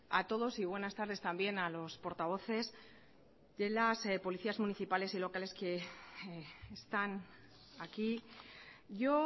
a todos y buenas tardes también a los portavoces de las policías municipales y locales que están aquí yo